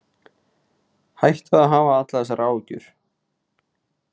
Hættu að hafa allar þessar áhyggjur.